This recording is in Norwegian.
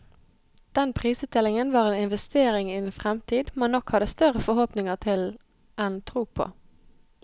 Den prisutdelingen var en investering i en fremtid man nok hadde større forhåpninger til enn tro på.